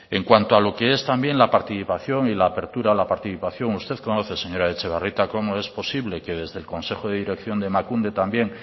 en cuanto a lo que es también la participación y la apertura la participación usted conoce señora etxebarrieta cómo es posible que desde el consejo de dirección de emakunde también